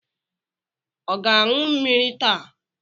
Ọ ga-aṅụ mmiri taa?